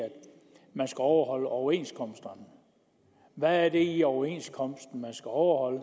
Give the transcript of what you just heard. man skal overholde overenskomsterne hvad er det i overenskomsterne man skal overholde